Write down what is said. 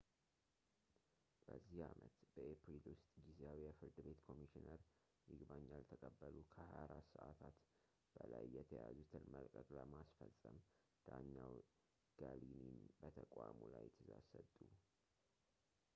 በዚህ ዓመት በኤፕሪል ውስጥ ጊዜያዊ የፍርድ ቤት ኮሚሽነር ይግባኝ ያልተቀበሉ ከ 24 ሰዓታት በላይ የተያዙትን መልቀቅ ለማስፈፀም ዳኛው ገሊኒን በተቋሙ ላይ ትእዛዝ ሰጡ